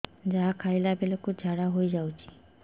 ଯାହା ଖାଇଲା ବେଳକୁ ଝାଡ଼ା ହୋଇ ଯାଉଛି